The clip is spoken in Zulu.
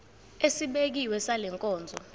esibekiwe sale nkonzo